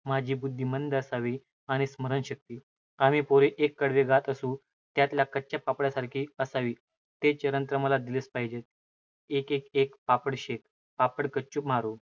माझी बुद्धी मंद असावी, आणि स्मरणशक्ति, आम्ही पोरे एक कडवे गात असू, त्यातल्या कच्च्या पापडासारखी असावी. ते चरण तर मला दिलेच पाहिजेत, एकडे एक, पापडशेक पापड कच्चो, मारो